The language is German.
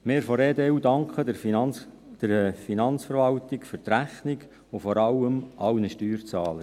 Wir von der EDU danken der Finanzverwaltung für die Rechnung und vor allem allen Steuerzahlern.